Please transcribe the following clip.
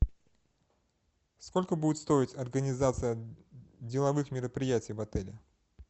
сколько будет стоить организация деловых мероприятий в отеле